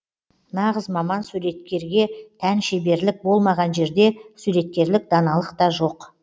нағыз маман суреткерге тән шеберлік болмаған жерде суреткерлік даналық та жоқ